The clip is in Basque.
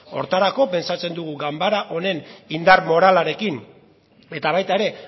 horretarako pentsatzen dugu ganbara honen indar moralarekin eta baita ere